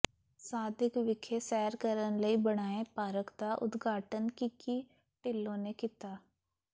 ਸਾਦਿਕ ਵਿਖੇ ਸੈਰ ਕਰਨ ਲਈ ਬਣਾਏ ਪਾਰਕ ਦਾ ਉਦਘਾਟਨ ਕਿੱਕੀ ਢਿੱਲੋਂ ਨੇ ਕੀਤਾ